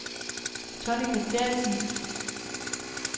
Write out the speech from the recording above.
Tonni Christiansen